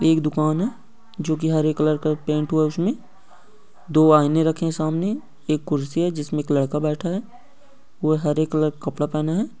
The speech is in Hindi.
एक दुकान है जो की हरे कलर का पैन्ट हुआ है उस में दो आईने रखे है सामने एक कुर्सी है जिस में एक लड़का बैठा है वो हरे कलर का कपड़ा पहना है ।